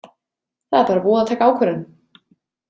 Það er bara búið að taka ákvörðun.